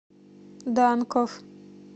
данков